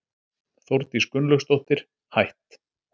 Þórdís Gunnlaugsdóttir, hætt